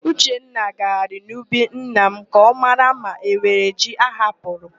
Uchenna gagharịrị n'ubi nna m ka ọ mara ma enwere ji ahapụrụ.